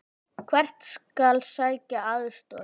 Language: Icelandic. Hvert skal sækja aðstoð?